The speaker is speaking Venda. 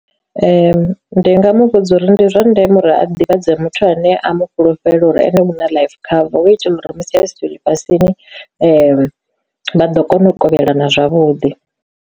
Ndi ndi nga mu vhudza uri ndi zwa ndeme uri a ḓivhadze muthu ane a mu fhulufhela uri ene huna life cover hu itela uri musi i siho ḽifhasini vha ḓo kona u kovhelana zwavhuḓi.